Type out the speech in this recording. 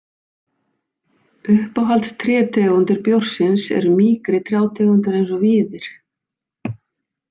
Uppáhaldstrétegundir bjórsins eru mýkri trjátegundir eins og víðir.